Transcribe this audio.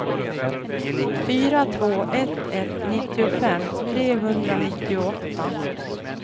fyra två ett ett nittiofem trehundranittioåtta